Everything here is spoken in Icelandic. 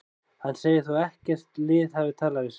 Hann segir þó að ekkert lið hafi talað við sig.